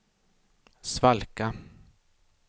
svalka